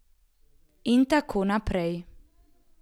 In tako naprej...